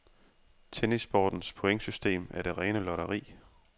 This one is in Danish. Tennissportens pointsystem er det rene lotteri.